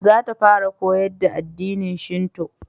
Za ta fara koyar da addinin shinto